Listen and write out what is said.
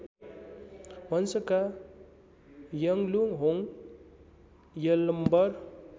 वंशका Yangluhong Yalambar